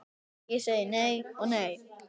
Ég segi nei og nei.